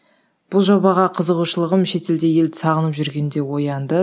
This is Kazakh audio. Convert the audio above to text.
бұл жобаға қызығушылығым шетелде елді сағынып жүргенде оянды